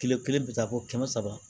Kile kelen bi taa fɔ kɛmɛ saba